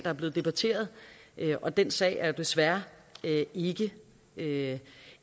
er blevet debatteret og den sag er jo desværre ikke ikke